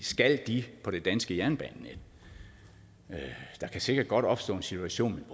skal de på det danske jernbanenet der kan sikkert godt opstå en situation